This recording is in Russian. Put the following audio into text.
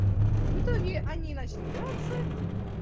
в итоге они начали драться